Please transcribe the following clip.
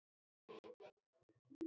Þess naut ég af hjarta.